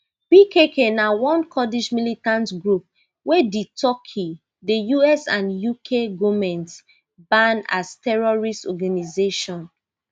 pkk na one kurdish militant group wey di turkey the us and uk goment ban as terrorist organisation